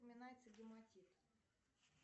упоминается гематит